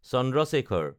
Chandra Shekhar